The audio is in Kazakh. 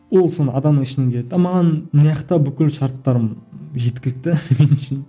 ол соны адам маған бүкіл шарттарым жеткілікті